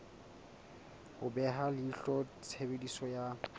ho beha leihlo tshebediso ya